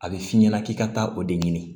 A bɛ f'i ɲɛna k'i ka taa o de ɲini